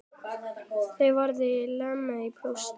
Þau verða lamin í púsl!